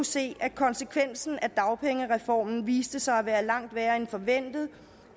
se at konsekvensen af dagpengereformen viste sig at være langt værre end forventet